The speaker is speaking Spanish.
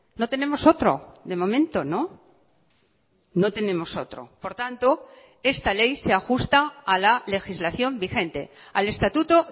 no tenemos otro de momento no no tenemos otro por tanto esta ley se ajusta a la legislación vigente al estatuto